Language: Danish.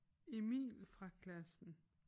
Emil fra klassen